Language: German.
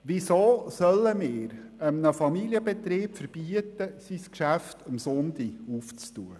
Weshalb sollen wir einem Familienbetrieb verbieten, das Geschäft am Sonntag aufzumachen?